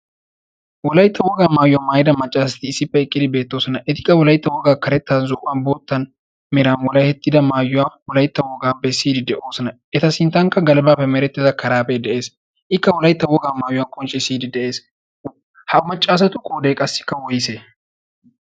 wolaytta wogaa maayuwaa maayida maccaasati issippe eqqidi beettoosona etikka wolaytta wogaa karettan zo'uwan boottan miraa wolahettida maayuwaa wolaytta wogaa besiidi de'oosona eta sinttankka galibaa memerettida karaapee de'ees ikka wolaytta wogaa maayuwaa qoncci siyidi de7ees ha maccaasatu qoodee qassikka woyse?